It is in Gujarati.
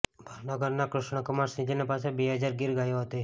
ભાવનગરનાં કૃષ્ણકુમાર સિંહજી પાસે બે હજાર ગીર ગાયો હતી